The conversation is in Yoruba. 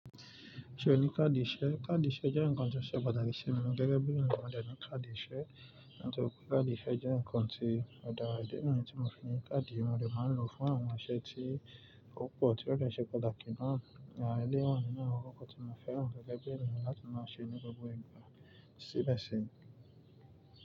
Ṣé o ní káàdì ìṣe? Káàdì ìṣe jẹ́ ǹkan tí ó ṣe pàtàkì sí mi gẹ́gẹ́ bí ènìyàn mo dẹ̀ ní káàdì ìṣe. Nítorí pé káàdì ìṣe jẹ́ ǹkan tí ó dára. Ìdí ni ti mo fi ní káàdì, mo dẹ̀ máa ń lò fún àwọn iṣẹ́ tí ó pọ̀ tí ó dẹ̀ ṣe pàtàkì náà. Ìdí ni mí ní àwọn kókó tí mo fẹ́ràn gẹ́gẹ́ bí ènìyàn láti máa ṣe ní gbogbo ìgbà síbẹ̀ sì.